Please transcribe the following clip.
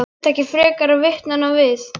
Það þurfti ekki frekari vitnanna við.